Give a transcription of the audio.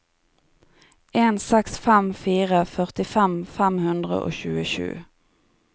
en seks fem fire førtifem fem hundre og tjuesju